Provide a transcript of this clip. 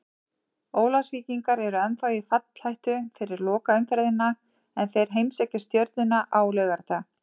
Ólafsvíkingar eru ennþá í fallhættu fyrir lokaumferðina en þeir heimsækja Stjörnuna á laugardag.